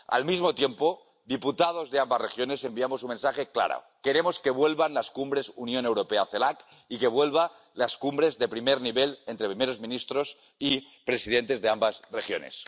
Al mismo tiempo, los diputados de ambas regiones enviamos un mensaje claro queremos que vuelvan las cumbres Unión Europea CELAC y que vuelvan las cumbres de primer nivel, entre primeros ministros y presidentes de ambas regiones.